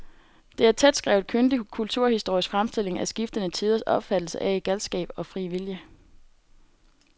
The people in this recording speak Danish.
Det er en tætskrevet, kyndig kulturhistorisk fremstilling af skiftende tiders opfattelse af galskab og fri vilje.